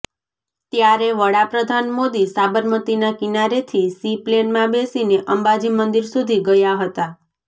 ત્યારે વડાપ્રધાન મોદી સાબરમતીના કિનારેથી સી પ્લેનમાં બેસીને અંબાજી મંદિર સુધી ગયા હતા